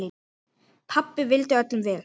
Pabbi vildi öllum vel.